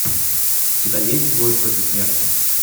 у тебя есть двое против смерти